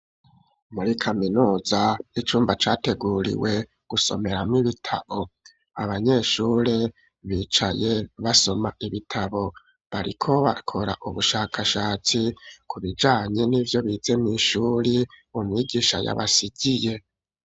Muri kaminuza icumba categuriwe gusomeramwo ibitabo, abanyeshuri bicaye basoma ibitabo. Bariko bakora ubushakashatsi ku bijanye n'ivyo bize mw'ishuri, umwigisha yabasigiye.